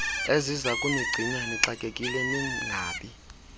ezizakunigcina nixakekile ningabi